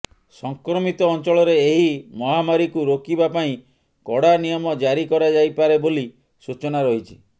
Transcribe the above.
ସଂକ୍ରମିତ ଅଞ୍ଚଳରେ ଏହି ମହାମାରିକୁ ରୋକିବା ପାଇଁ କଡା ନିୟମ ଜାରି କରାଯାଇପାରେ ବୋଲି ସୂଚନା ରହିଛି